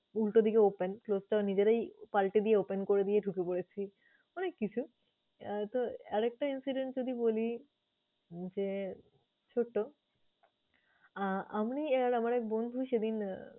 উল্টো দিগে open । Close টা নিজেরাই পাল্টে দিয়ে open করে দিয়ে ঢুকে পরেছি অনেক কিছু। আহ তো আর একটা incident যদি বলি যে ছোট। আমি আর আমার এক বন্ধু সেদিন আহ